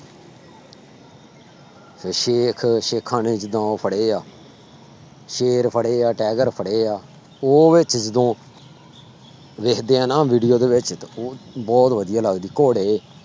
ਤੇ ਸੇਖ ਸੇਖਾਂ ਨੇ ਜਿੱਦਾਂ ਉਹ ਫੜੇ ਆ ਸ਼ੇਰ ਫੜੇ ਆ tiger ਫੜੇ ਆ ਉਹ ਵਿੱਚ ਜਦੋਂ ਵੇਖਦੇ ਹਾਂ ਨਾ video ਦੇ ਵਿੱਚ ਤਾਂ ਉਹ ਬਹੁਤ ਵਧੀਆ ਲੱਗਦੀ ਘੋੜੇ,